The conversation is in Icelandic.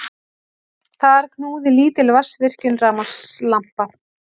Þar knúði lítil vatnsvirkjun rafmagnslampa.